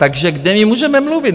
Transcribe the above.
Takže kde my můžeme mluvit?